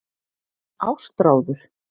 Ástráður